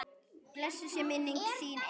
Blessuð sé minning þín engill.